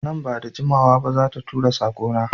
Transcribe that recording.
Nan ba da jimawa ba za ta tura sako na